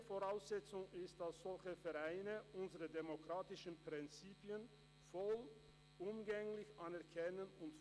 Die wichtige Voraussetzung ist, dass solche Vereine unsere demokratischen Prinzipien vollumfänglich anerkennen und fördern.